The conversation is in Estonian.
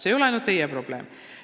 See ei ole ainult teie probleem.